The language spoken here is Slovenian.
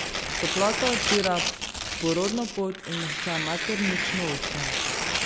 Toplota odpira porodno pot in mehča maternično ustje.